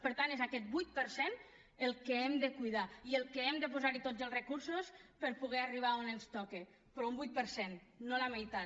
per tant és aquest vuit per cent el que hem de cuidar i al que hem de posar tots els recursos per poder arribar on ens toca però un vuit per cent no la meitat